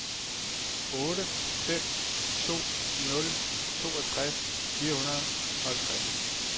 otte fem to nul toogtres fire hundrede og halvtreds